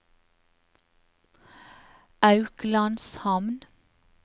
Auklandshamn